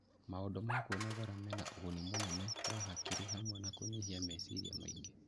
Maũndũ ma kwĩnogora mena ũguni mũnene wa ũgima wa hakiri, hamwe na kũnyihia meciria maingĩ